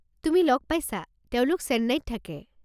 তুমি লগ পাইছা, তেওঁলোক চেন্নাইত থাকে।